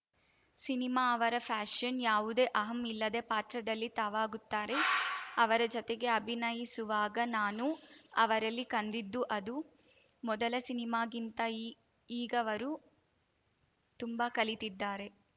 cinema ಅವರ passion ಯಾವುದೇ ಅಹಂ ಇಲ್ಲದೆ ಪಾತ್ರದಲ್ಲಿ ತಾವಾಗುತ್ತಾರೆ ಅವರ ಜತೆಗೆ ಅಭಿನಯಿಸುವಾಗ ನಾನು ಅವರಲ್ಲಿ ಕಂಡಿದ್ದು ಅದು ಮೊದಲ ಸಿನಿಮಾಗಿಂತ ಈಗವರು ತುಂಬಾ ಕಲಿತಿದ್ದಾರೆ